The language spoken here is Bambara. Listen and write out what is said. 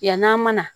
Yann'a mana